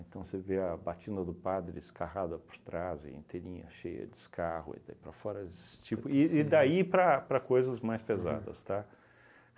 Então, você vê a batina do padre escarrada por trás, inteirinha, cheia de escarro, e daí para fora... Esses tipos de e daí para para coisas mais pesadas, tá?